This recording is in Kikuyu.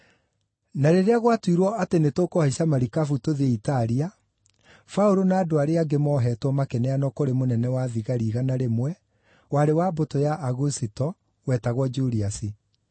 Na rĩrĩa gwatuirwo atĩ nĩtũkũhaica marikabu tũthiĩ Italia, Paũlũ na andũ arĩa angĩ mooheetwo makĩneanwo kũrĩ mũnene-wa-thigari-igana rĩmwe, warĩ wa mbũtũ ya Agusito, wetagwo Juliasi.